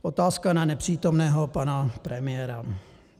Otázka na nepřítomného pana premiéra.